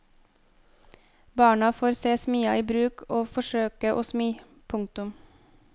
Barna får se smia i bruk og forsøke å smi. punktum